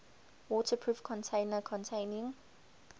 waterproof container containing